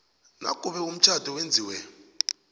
nakube umtjhado wenziwe